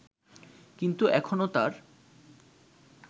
কিন্তু এখনো তার